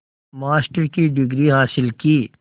master की degree हासिल की